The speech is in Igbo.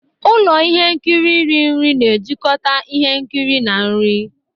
Ụlọ ihe nkiri iri nri na-ejikọta ihe nkiri na nri.